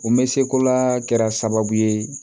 O me seko la kɛra sababu ye